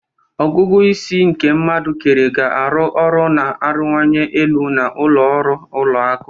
ọgụgụ isi nke mmadu kere ga-arụ ọrụ na-arịwanye elu na ụlọ ọrụ ụlọ akụ.